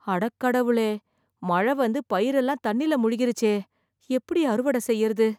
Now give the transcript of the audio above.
அட கடவுளே. மழை வந்து பயிரெல்லாம் தண்ணில முழுகிருச்சே. எப்படி அறுவடை செய்யறது.